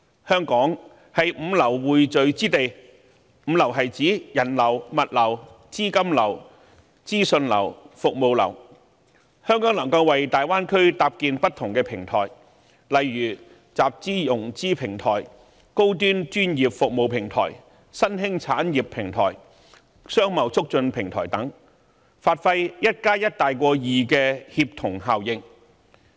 香港是5流匯聚之地，即人流、物流、資金流、資訊流及服務流，香港可為大灣區搭建不同的平台，例如集資/融資平台、高端專業服務平台、新興產業平台、商貿促進平台等，發揮 1+1 大於2的協同效應。